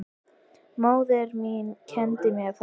Móðir mín kenndi mér það.